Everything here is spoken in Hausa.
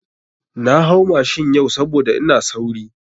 Na hau mashin yau saboda ina sauri.